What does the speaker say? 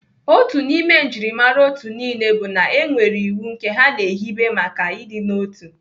Otu n'ime njimara otu niile bụ na enwere iwu nke ha na-ehibe maka ịdịnotu.